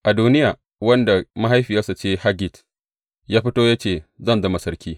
Adoniya, wanda mahaifiyarsa ce Haggit, ya fito ya ce, Zan zama sarki.